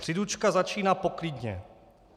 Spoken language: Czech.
Příručka začíná poklidně.